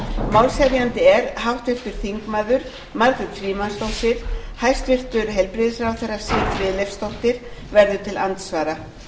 málshefjandi er háttvirtur þingmaður margrét frímannsdóttir hæstvirtur heilbrigðisráðherra siv friðleifsdóttir verður til andsvara